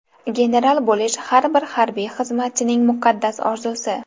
General bo‘lish har bir harbiy xizmatchining muqaddas orzusi.